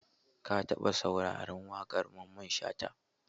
Ka taɓa sauraron waƙar Mamman Shata?